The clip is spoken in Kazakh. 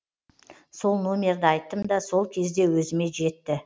сол номерді айттым да сол кезде өзіме жетті